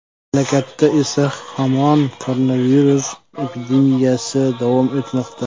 Mamlakatda esa hamon koronavirus epidemiyasi davom etmoqda.